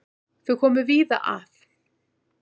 Þau koma víða að.